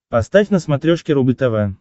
поставь на смотрешке рубль тв